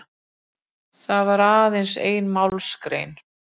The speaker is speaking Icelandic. Það var aðeins ein málsgrein